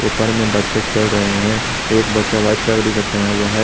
ऊपर में बच्चे खेल रहे हैं एक बच्चा व्हाइट कलर का टीशर्ट पहना हुआ है।